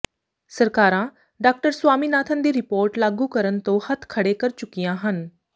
ਸਰਕਾਰਾਂ ਡਾਕਟਰ ਸਵਾਮੀਨਾਥਨ ਦੀ ਰਿਪੋਰਟ ਲਾਗੂ ਕਰਨ ਤੋਂ ਹੱਥ ਖੜ੍ਹੇ ਕਰ ਚੁੱਕੀਆਂ ਹਨ